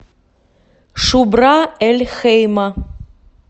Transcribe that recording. шубра эль хейма